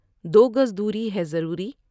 دوگز دوری ہے ضروری ۔